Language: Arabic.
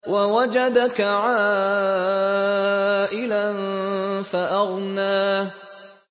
وَوَجَدَكَ عَائِلًا فَأَغْنَىٰ